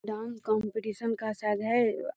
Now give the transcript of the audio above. Dance competition का शायद है।